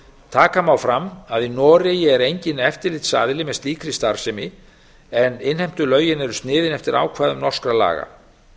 taka má fram að í noregi er enginn eftirlitsaðili með slíkri starfsemi en innheimtulögin eru sniðin eftir ákvæðum norskra laga